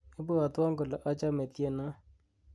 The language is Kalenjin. ibwotwon kole achome tienon